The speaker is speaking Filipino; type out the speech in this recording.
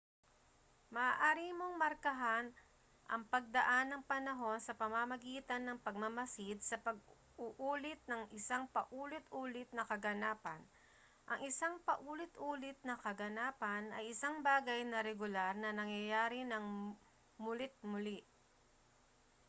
maaari mong markahan ang pagdaan ng panahon sa pamamagitan ng pagmamasid sa pag-uulit ng isang paulit-ulit na kaganapan ang isang paulit-ulit na kaganapan ay isang bagay na regular na nangyayari nang muli't-muli